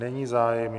Není zájem.